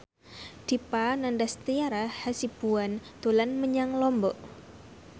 Dipa Nandastyra Hasibuan dolan menyang Lombok